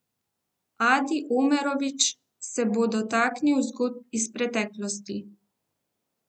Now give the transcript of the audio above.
Adi Omerovič se bo dotaknil zgodb iz preteklosti.